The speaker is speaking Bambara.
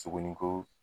Suguni ko